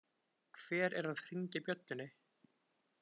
Hver er að hringja bjöllunni?